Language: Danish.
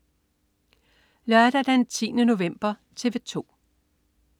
Lørdag den 10. november - TV 2: